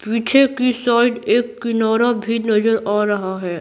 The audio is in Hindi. पीछे की साइड एक किनारा भी नजर आ रहा है।